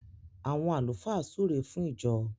àwon àlùfáà súré fún ìjọ.